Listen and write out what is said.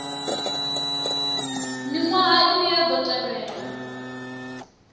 miṅwaha ine ya ḓo tevhela